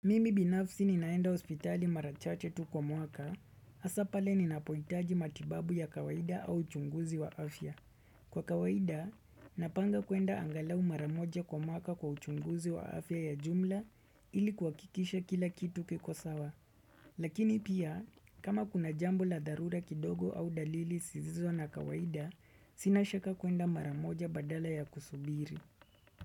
Mimi binafsi ni naenda hospitali marachache tu kwa mwaka, hasapale ni napohitaji matibabu ya kawaida au chunguzi wa afya. Kwa kawaida, napanga kuenda angalau maramoja kwa mwaka kwa chunguzi wa afya ya jumla ilikuwa kikisha kila kitu kiko sawa. Lakini pia, kama kuna jambo la darura kidogo au dalili zisizo na kawaida, sinashaka kuenda maramoja badala ya kusubiri.